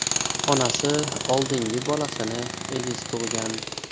Onasi oldingi bolasini egiz tug‘gan.